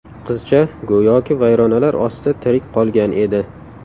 Qizcha go‘yoki vayronalar ostida tirik qolgan edi.